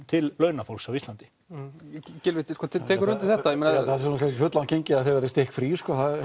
til launafólks á Íslandi Gylfi tekur þú undir þetta Gylfi það er kannski fulllangt gengið að þið verðið stikkfrí